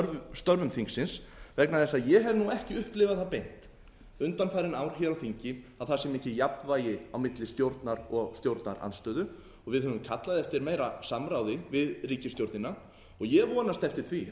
störfum þingsins vegna þess að ég hef ekki upplifað það beint undanfarin ár á þingi að það sé mikið jafnvægi á milli stjórnar og stjórnarandstöðu við höfum kallað eftir meira samráði við ríkisstjórnina og ég vonast til